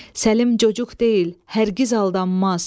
Səlim çocuq deyil, hər qiz aldanmaz.